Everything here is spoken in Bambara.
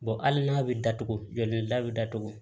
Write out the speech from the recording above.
hali n'a bɛ datugulen da bɛ datugu